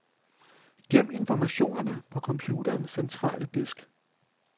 Gem informationerne på computerens centrale disk.